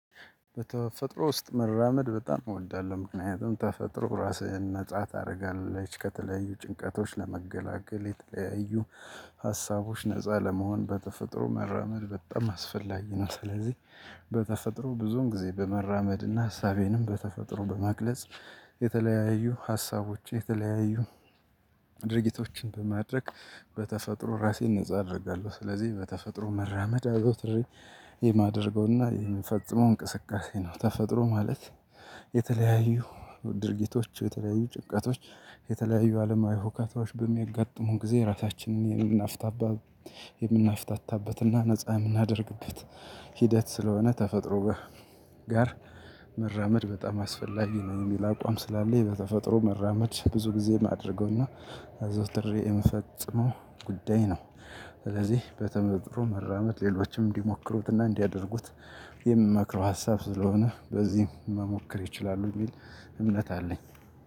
በተፈጥሮ ውስጥ መራመድ በጣም እወዳለሁ ምክንያቱም ተፈጥሮ ራስህን ነፃ ታደርጋለች ከተለያዩ ጭንቀቶች ለመገላገል የተለያዩ ሀሳቦች ነፃ ለመሆን በተፈጥሮ መራመድ በጣም አስፈላጊ ነው። ስለዚህ በተፈጥሮ ብዙን ጊዜ በመራመድና ሀሳቤንም በተፈጥሮ በመግለጽ የተለያዩ ሀሳቦች የተለያዩ ድርጊቶችን በማድረግ በተፈጥሮ ራሴን ነፃ አደርጋለሁ። ስለዚህ በተፈጥሮ መራመድ አዘውትሪ የማደርገውና የምፈጽመው እንቅስቃሴ ነው። ተፈጥሮ ማለት የተለያዩ ድርጊቶች የተለያዩ ጭንቀቶች የተለያዩ አለማዊ ሁካታዎች በሚጋጥሙን ጊዜ ራሳችንን የምናፍታታበትና ነፃ የምናደርግበት ሂደት ስለሆነ ተፈጥሮ ጋር መራመድ በጣም አስፈላጊ ነው። የሚል አቋም ስላለኝ በተፈጥሮ መራመድ ብዙ ጊዜ ማድረገውና አዘዉትሬ የምፈጽመው ጉዳይ ነው። ስለዚህ በተፈርጥሮ መራመድ ሌሎችም እንዲሞክሩትና እንዲያደርጉት የምመክረው ሀሳብ ስለሆነ በዚህም መሞከር ይችላሉ የሚል እምነት አለኝ።